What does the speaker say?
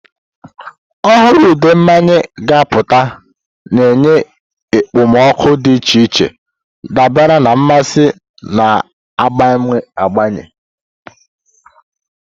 Ọhụrụ ude mmanya ga-apụta, na-enye ekpomeekpo dị iche iche dabara na mmasị na-agbanwe agbanwe.